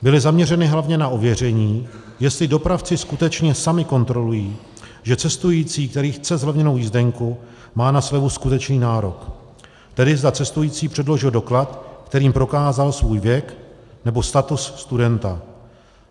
Byly zaměřeny hlavně na ověření, jestli dopravci skutečně sami kontrolují, že cestující, který chce zlevněnou jízdenku, má na slevu skutečný nárok, tedy zda cestující předložil doklad, kterým prokázal svůj věk nebo status studenta.